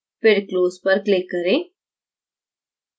फिर close पर click करें